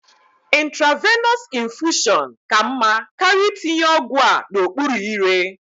Intravenọs infushọn ka mma karịa itinye ọgwụ a n'okpuru ire.